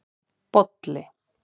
Bolli